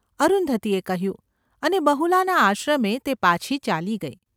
’ અરુંધતીએ કહ્યું અને બહુલાના આશ્રમે તે પાછી ચાલી ગઈ.